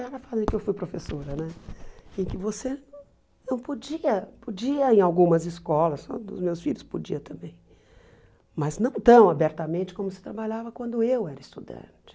Era a fase em que eu fui professora né, em que você não podia, podia em algumas escolas, na dos meus filhos podiam também, mas não tão abertamente como se trabalhava quando eu era estudante.